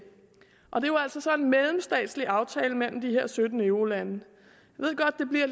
og det er jo altså så en mellemstatslig aftale mellem de her sytten eurolande